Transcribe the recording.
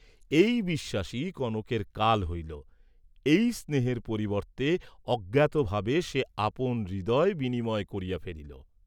এই বিশ্বাসই কনকের কাল হইল, এই স্নেহের পরিবর্ত্তে অজ্ঞাতভাবে সে আপন হৃদয় বিনিময় করিয়া ফেলিল।